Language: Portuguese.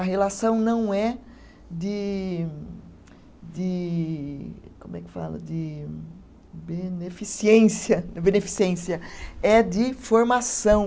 A relação não é de, de, como é que fala, de beneficiência, beneficiência, é de formação.